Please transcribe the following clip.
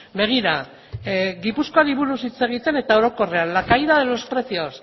begira gipuzkoari buruz hitz egiten eta orokorrean la caída de los precios